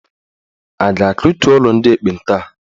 A ga-akụtu ụlọ ndị ekpenta a?